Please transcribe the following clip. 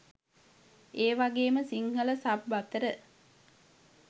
ඒවගේම සිංහල සබ් අතර